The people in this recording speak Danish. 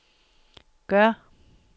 gør